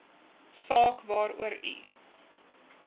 saak waarvoor u